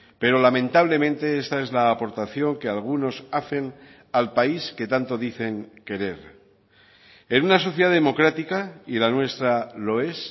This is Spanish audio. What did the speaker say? pero lamentablemente esta es la aportación que algunos hacen al país que tanto dicen querer en una sociedad democrática y la nuestra lo es